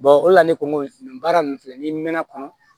o de la ne ko n ko baara ninnu filɛ ni mɛn kɔnɔ